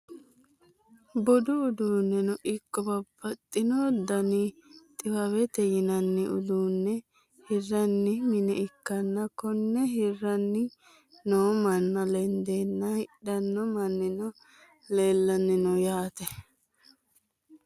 budu uduunneno ikko babbaxino dani xiwawete yinanni uduunne hirranni mine ikkanna, konne hiranni noo manna lendanna hidhanno mannino leelanni no yaate.